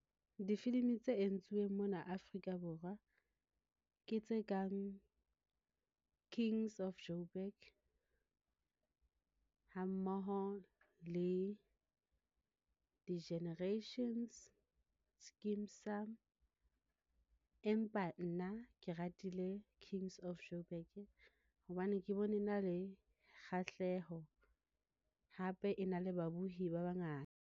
Difilimi tse entsweng mona Afrika Borwa ke tse kang King's of Jo'burg ha mmoho le di-Generations, Skeem Saam empa nna ke ratile King's of Jo'burg hobane ke bone na le kgahleho. Hape e na le babohi ba bangata.